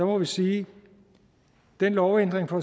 må vi sige at den lovændring fra